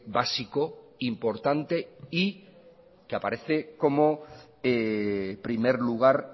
básico importante y que aparece como primer lugar